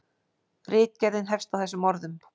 Ritgerðin hefst á þessum orðum: